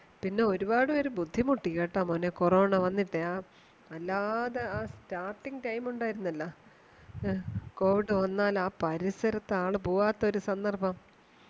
പിന്നെ ഒരുപാടുപേര് ബുദ്ധിമുട്ടി കേട്ടോ മോനെ corona വന്നിട്ടേ ആ വല്ലാതെ ആ starting time ഉണ്ടായിരുന്നാല എ covid വന്നാൽ ആ പരിസരത്തു ആള് പോവാത്ത സന്നർഭം